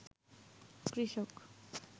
কৃষক